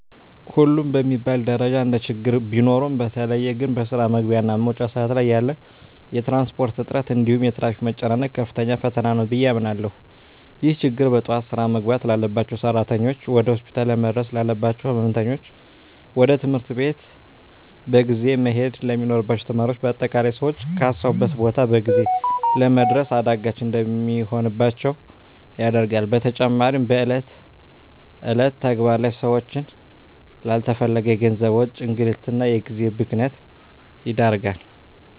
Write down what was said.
ሁሉም በሚባል ደረጃ እንደችግር ቢኖሩም በተለየ ግን በስራ መግቢያ እና መውጫ ሰአት ላይ ያለ የትራንስፖርት እጥረት እንዲሁም የትራፊክ መጨናነቅ ከፍተኛ ፈተና ነው ብየ አምናለሁ። ይህ ችግር በጠዋት ስራ መግባት ላባቸው ሰራተኞች፣ ወደ ሆስፒታል ለመድረስ ላለባቸው ህመምተኞች፣ ወደ ትምህርት ቤት በጊዜ መሄድ ለሚኖርባቸው ተማሪዎች በአጠቃላይ ሰወች ካሰቡት ቦታ በጊዜ ለመድረስ አዳጋች እንዲሆንባቸው ያደርጋል። በተጨማሪም በእለት እለት ተግባር ላይ ሰወችን ላለተፈለገ የገንዘብ ወጪ፣ እንግልት እና የጊዜ ብክነት ይዳርጋል።